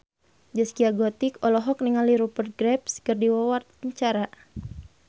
Zaskia Gotik olohok ningali Rupert Graves keur diwawancara